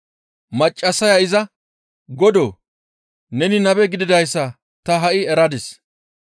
Maccassaya izas, «Godoo! Neni nabe gididayssa ta ha7i eradis.